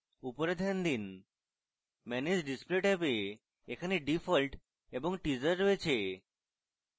উপরে ধ্যান দিন manage display ট্যাবে এখানে default এবং teaser রয়েছে